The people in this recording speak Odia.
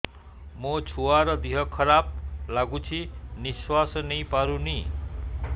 ମୋ ଛୁଆର ଦିହ ଖରାପ ଲାଗୁଚି ନିଃଶ୍ବାସ ନେଇ ପାରୁନି